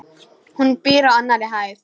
Hún býr á annarri hæð.